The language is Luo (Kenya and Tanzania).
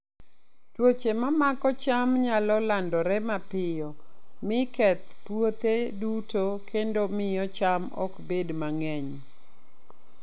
Tuoche ma mako cham nyalo landore mapiyo, mi keth puothe duto kendo miyo cham ok bed mang'eny.